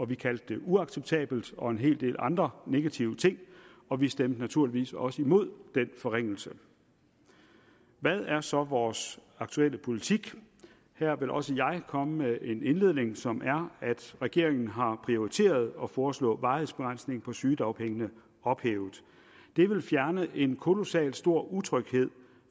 vi kaldte det uacceptabelt og en hel del andre negative ting og vi stemte naturligvis også imod den forringelse hvad er så vores aktuelle politik her vil også jeg komme med en indledning som er at regeringen har prioriteret at foreslå varighedsbegrænsningen på sygedagpengene ophævet det vil fjerne en kolossalt stor utryghed